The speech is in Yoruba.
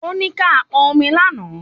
Ó ní ká pọn omi lánàá